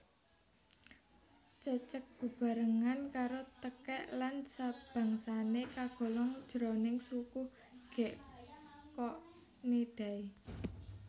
Cecek bebarengan karo tekèk lan sabangsané kagolong jroning suku Gekkonidae